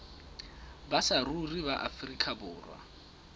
ba saruri ba afrika borwa